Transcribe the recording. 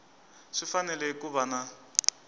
swi fanele ku va na